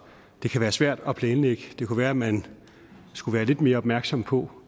det kan være svært at planlægge det kunne være at man skulle være lidt mere opmærksom på